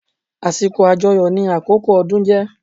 Àsìkò àjọyọ̀ ni àkókò ọdún jé